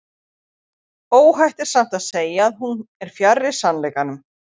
óhætt er samt að segja að hún er fjarri sannleikanum